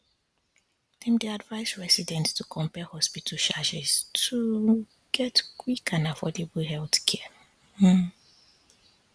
dem dey advise residents to compare hospital charges to um get quick and affordable healthcare um